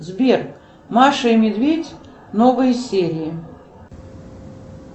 сбер маша и медведь новые серии